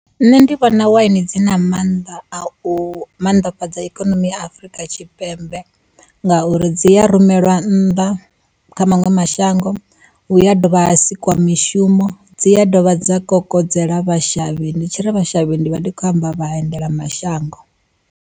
Nṋe ndi vhona waini dzi na mannḓa a u mannḓafhadza ikonomi ya Afurika Tshipembe, ngauri dzi ya rumelwa nnḓa kha maṅwe mashango. Hu ya dovha ha sikwa mishumo, dzi ya dovha dza kokodzela vha shavhi ndi tshiri vha shavhi ndi vha ndi khou amba vha endela mashango.